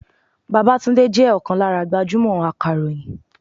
Babátúndé jẹ́ ọ̀kan lára gbajúmò akàròyìn.